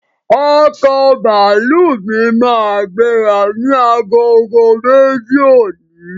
Ọkọ̀ bàálù mí máa gbéra ni agogo méjì òní